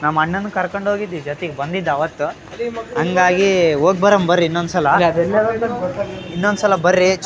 ನಮ್ಮಣ್ಣನ್ ಕರ್ಕೊಂಡ್ ಹೋಗಿದ್ವಿ ಜೊತೆಗೆ ಬಂದಿದ್ದ ಅವತ್ತ ಹಂಗಾಗಿ ಹೋಗ್ ಬರೋನ್ ಬರ್ರಿ ಇನ್ನೊಂದ್ಸಲ ಇನ್ನೊಂದ್ಸಲ ಬರ್ರೀ ಚ್ --